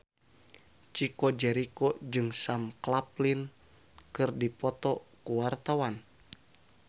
Chico Jericho jeung Sam Claflin keur dipoto ku wartawan